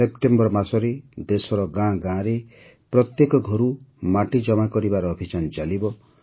September ମାସରେ ଦେଶର ଗାଁ ଗାଁରେ ପ୍ରତ୍ୟେକ ଘରୁ ମାଟି ଜମା କରିବାର ଅଭିଯାନ ଚାଲିବ